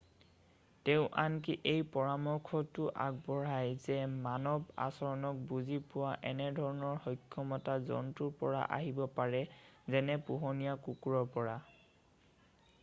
তেওঁ আনকি এই পৰামৰ্শটোও আগবঢ়ায় যে মানৱ আচৰণক বুজি পোৱা এনেধৰণৰ সক্ষমতা জন্তুৰ পৰা আহিব পাৰে যেনে পোহনীয়া কুকুৰৰ পৰা